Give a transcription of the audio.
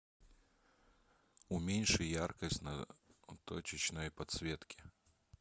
уменьши яркость на точечной подсветке